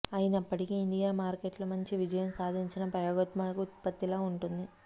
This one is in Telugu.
అయినప్పటికీ ఇండియ్ మార్కెట్లో మంచి విజయం సాధించిన ప్రయోగాత్మక ఉత్పత్తిలా ఉంటుంది